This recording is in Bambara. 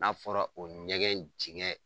N'a fɔra o ɲɛgɛn dingɛ